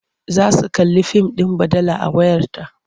Za su kalli fim ɗin baɗala a wayarta.